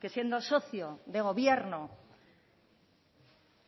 que siendo socio de gobierno